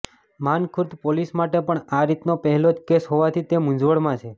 Mankhurd police માટે પણ આ રીતનો પહેલો જ કેસ હોવાથી તે મુંઝવણમાં છે